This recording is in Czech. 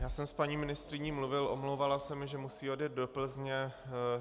Já jsem s paní ministryní mluvil, omlouvala se mi, že musí odjet do Plzně.